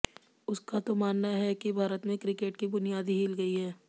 उसका तो मानना है कि भारत में क्रिकेट की बुनियाद ही हिल गई है